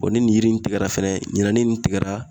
Ɔ ni yiri in tigɛra fɛnɛ ɲinɛ ni nin tigɛra